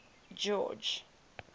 george